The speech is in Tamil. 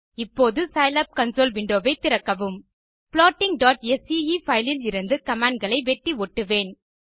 இப்போது சிலாப் கன்சோல் விண்டோ ஐ திறக்கவும் plottingஸ்கே பைல் இலிருந்து commandகளை வெட்டி ஒட்டுவேன்